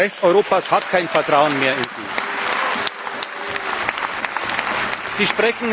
Der Rest Europas hat kein Vertrauen mehr in Sie.